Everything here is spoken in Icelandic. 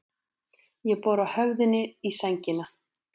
Ég bora höfðinu í sængina.